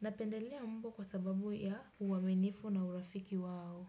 napendelea mbwa kwa sababu ya uaminifu na urafiki wao.